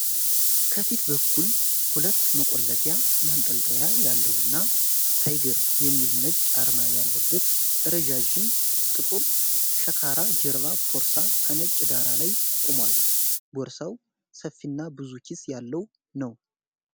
ከፊት በኩል ሁለት መቆለፊያ ማንጠልጠያ ያለውና "ታይገር" የሚል ነጭ አርማ ያለበት ረዣዥም ጥቁር ሸካራ ጀርባ ቦርሳ ከነጭ ዳራ ላይ ቆሟል። ቦርሳው ሰፊና ብዙ ኪስ ያለው ነው።